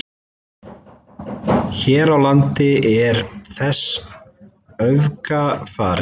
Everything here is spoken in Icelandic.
Hér á landi er þessu öfugt farið.